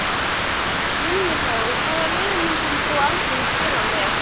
Vinna þá Hvaða liði myndir þú aldrei spila með?